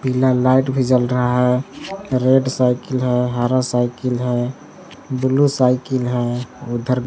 पीला लाइट भी चल रहा है रेड साइकिल है हरा साइकिल है ब्लू साइकिल है उधर--